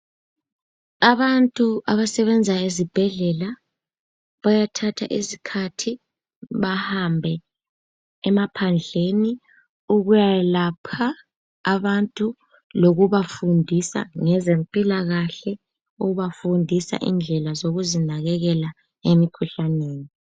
Abantu abasebenza ezibhedlela bayathatha isikhathi bahambe emaphandleni ukuya yelapha abantu lokuba fundisa ngezempilakahle, ukuba fundisa indlela zokuzinakekela emikhuhlaneni.